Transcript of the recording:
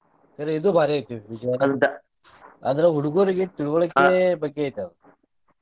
ಕರೆ ಇದು ಭಾರಿ ಐತಿ ವಿಜಯಾನಂದ ಆದರೆ ಹುಡುಗುರಿಗ ತಿಳವಳಿಕೆ ಬಗ್ಗೆ ಐತಿ ಅದ್.